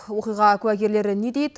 оқиға куәгерлері не дейді